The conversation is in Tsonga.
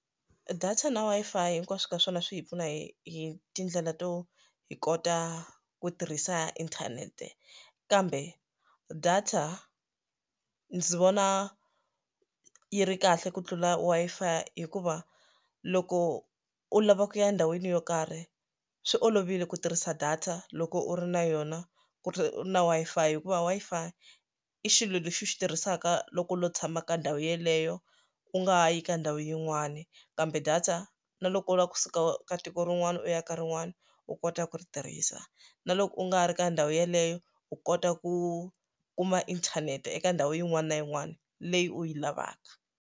Data na Wi-Fi hinkwaswo ka swona swi hi pfuna hi hi tindlela to hi kota ku tirhisa inthanete kambe data ndzi vona yi ri kahle ku tlula Wi-Fi hikuva loko u lava ku ya endhawini yo karhi swi olovile ku tirhisa data loko u ri na yona ku ri na Wi-Fi hikuva Wi-Fi i xilo lexi u xi tirhisaka loko u lo tshama ka ndhawu yeleyo u nga yi ka ndhawu yin'wana kambe data na loko u lava kusuka ka tiko rin'wani u ya ka rin'wani u kota ku ri tirhisa na loko u nga ri ka ndhawu yeleyo u kota ku kuma inthanete eka ndhawu yin'wana na yin'wana leyi u yi lavaka.